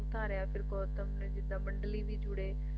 ਗੁਰੂ ਧਾਰਿਆ ਫਿਰ ਗੌਤਮ ਨੇ ਜਿਦਾਂ ਮੰਡਲੀ ਵੀ ਜੁੜੇ